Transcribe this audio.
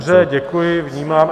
Dobře, děkuji, vnímám.